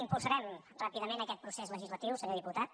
impulsarem ràpidament aquest procés legislatiu senyor diputat